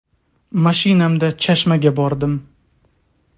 Mashinamda Chashmaga bordim.